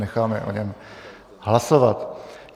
Necháme o něm hlasovat.